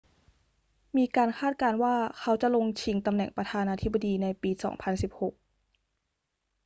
มีการคาดการณ์ว่าเขาจะลงชิงตำแหน่งประธานาธิบดีในปี 2016